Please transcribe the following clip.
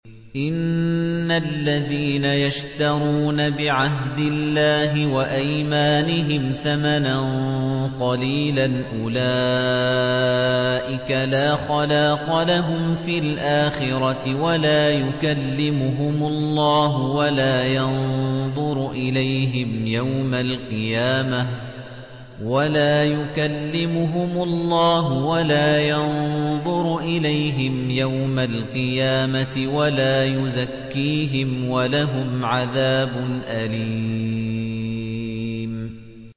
إِنَّ الَّذِينَ يَشْتَرُونَ بِعَهْدِ اللَّهِ وَأَيْمَانِهِمْ ثَمَنًا قَلِيلًا أُولَٰئِكَ لَا خَلَاقَ لَهُمْ فِي الْآخِرَةِ وَلَا يُكَلِّمُهُمُ اللَّهُ وَلَا يَنظُرُ إِلَيْهِمْ يَوْمَ الْقِيَامَةِ وَلَا يُزَكِّيهِمْ وَلَهُمْ عَذَابٌ أَلِيمٌ